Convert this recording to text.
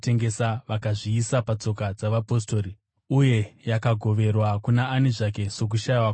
vakazviisa patsoka dzavapostori, uye yakagoverwa kuna ani zvake sokushayiwa kwake.